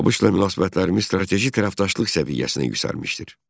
ABŞ-la münasibətlərimiz strateji tərəfdaşlıq səviyyəsinə yüksəlmişdir.